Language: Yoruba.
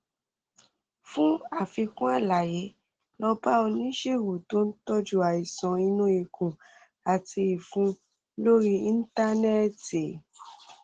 fún àfikún àlàyé lọ bá oníṣègùn tó ń tọjú àìsàn inú ikùn àti ìfun lórí íńtánẹẹtì